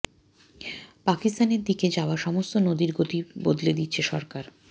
পাকিস্তানের দিকে যাওয়া সমস্ত নদীর গতি বদলে দিচ্ছে সরকার